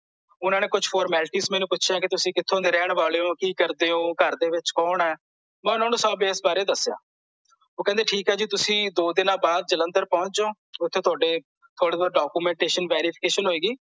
ਓਹਨਾਂ ਨੇ ਕੁਛ formalities ਮੈਨੂੰ ਪੁੱਛਿਆਂ ਕੇ ਤੁਸੀਂ ਕਿਥੋਂ ਦੇ ਰਹਿਣ ਵਾਲੇ ਹੋ ਕੀ ਕਰਦੇ ਹੋ ਘਰਦੇ ਵਿੱਚ ਕੋਣ ਐ, ਮੈਂ ਓਹਨਾਂ ਨੂੰ ਸਭ ਇਸ ਬਾਰੇ ਦੱਸਿਆ ਓਹ ਕਹਿੰਦਾ ਠੀਕ ਆ ਜੀ ਤੁਸੀਂ ਦੋ ਦਿਨਾਂ ਬਾਅਦ ਜਲੰਧਰ ਪਹੁੰਚ ਜਾਓ ਓਥੇ ਤੁਹਾਡੇ ਕੁਛ documentation verification ਹੋਏਗੀ